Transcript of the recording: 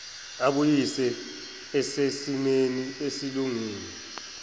abuyise esesimeni esilungile